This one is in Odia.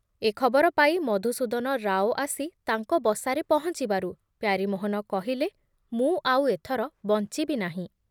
ଏ ଖବର ପାଇ ମଧୁସୂଦନ ରାଓ ଆସି ତାଙ୍କ ବସାରେ ପହଞ୍ଚିବାରୁ ପ୍ୟାରୀମୋହନ କହିଲେ, ମୁଁ ଆଉ ଏଥର ବଞ୍ଚିବି ନାହିଁ ।